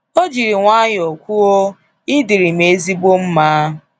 O jiri nwayọọ kwuo, I dịrị m ezigbo mma.